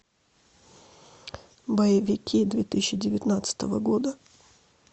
боевики две тысячи девятнадцатого года